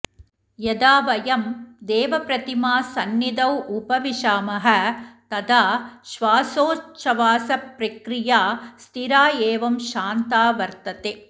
यदा वयं देवप्रतिमासंनिधौ उपविशामः तदा श्वासोच्छवासप्रक्रिया स्थिरा एवं शान्ता वर्तते